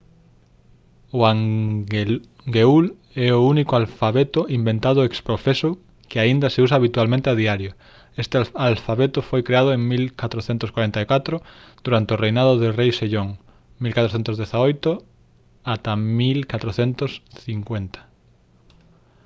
o hangeul é o único alfabeto inventado ex profeso que aínda se usa habitualmente a diario. este alfabeto foi creado en 1444 durante o reinado do rei sejong 1418 – 1450